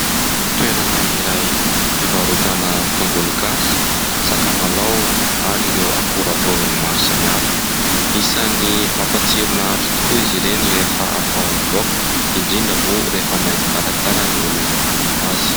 Toerana iray fivarotana tongologasy, sakamalaho, ary ireo akora vovony maro samihafa. Isany mampatsiro ny nahandro tokoa izy ireny, rehefa atao amin'ny laoka, indrindra moa rehefa mahay mikarakara ny olona manao azy.